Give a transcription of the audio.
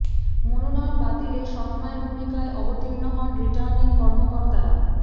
মনোনয়ন বাতিলে সৎ মায়ের ভূমিকায় অবতীর্ণ হন রিটার্নিং কর্মকর্তারা